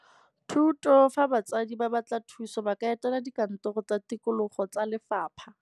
THUTO fa batsadi ba batla thuso ba ka etela dikantoro tsa tikologo tsa lefapha.